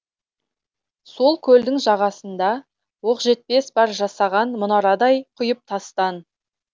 сол көлдің жағасында оқжетпес бар жасаған мұнарадай құйып тастан